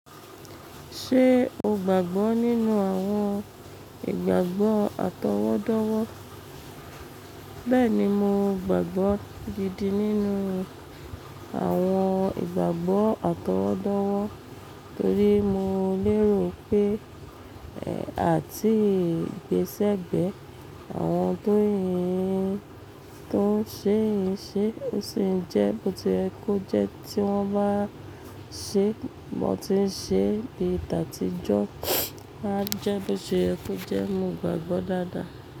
Ṣé o gbàgbọ́ nínú àwọn ìgbàgbọ́ àtọwọ́dọ́wọ́? Bẹ́ẹ̀ni, mo gbàgbọ́ gidi nínú àwọn ìgbàgbọ́ àtọwọ́dọ́wọ́ torí mo lérò pé, ẹ̀, àti gbésẹ̀gbẹ́ àwọn tóun ṣè sì n ṣé, ó sì ń jẹ́ bóti yẹ ko jẹ́ tí wọ́n bá ṣé, bó ti ń ṣé bí tatíjọ́ a jẹ́ bóti yẹ ko jẹ́, mo gbàgbọ́ dáadáa.